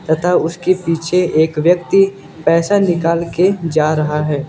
तथा उसके पीछे एक व्यक्ति पैसा निकाल के जा रहा है।